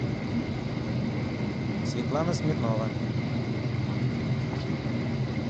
светлана смирнова